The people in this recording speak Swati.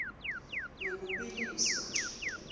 ngekubiliswa